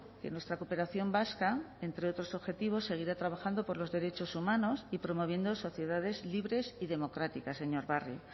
que nuestra cooperación vasca entre otros objetivos seguirá trabajando por los derechos humanos y promoviendo sociedades libres y democráticas señor barrio